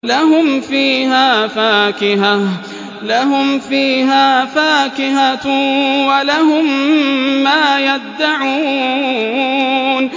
لَهُمْ فِيهَا فَاكِهَةٌ وَلَهُم مَّا يَدَّعُونَ